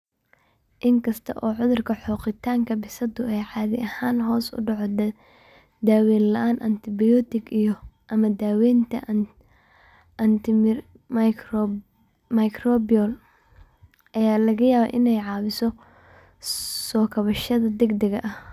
Inkasta oo cudurka xoqitaanka bisadu uu caadi ahaan hoos u dhaco daaweyn la'aan, antibiyootiga iyo/ama daaweynta antimicrobial ayaa laga yaabaa inay caawiso soo kabashada degdega ah.